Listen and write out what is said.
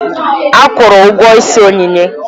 Ekwuuru ụgwọ ịsị Onyinye.